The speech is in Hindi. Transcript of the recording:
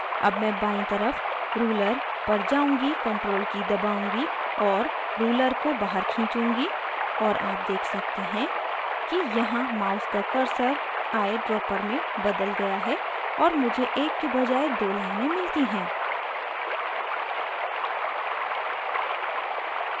अब मैं बायीं तरफ ruler पर जाऊँगी ctrl की दबाउंगी और ruler को बाहर खींचूँगी और आप देख सकते हैं कि यहाँ mouse का cursor ऑय dropper में बदल गया है और मुझे एक के बजाय दो लाइनें मिलती हैं